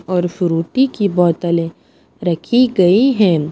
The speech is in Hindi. और फ्रूटी की बोतलें रखी गई हैं।